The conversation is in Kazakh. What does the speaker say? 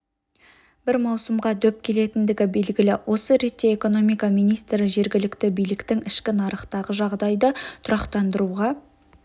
бір маусымға дөп келетіндігі белгілі осы ретте экономика министрі жергілікті биліктің ішкі нарықтағы жағдайды тұрақтандыруға